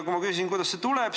Ma küsisin, kust see tuleb.